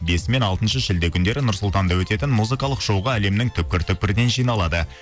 бесі мен алтыншы шілде күндері нұр сұлтанда өтетін музыкалық шоуға әлемнің түпкір түпкірінен жиналады